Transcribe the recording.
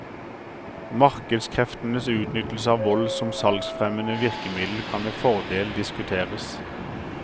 Markedskreftenes utnyttelse av vold som salgsfremmende virkemiddel kan med fordel diskuteres.